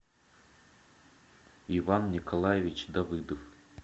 иван николаевич давыдов